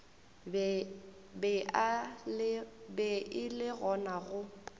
be e le gona go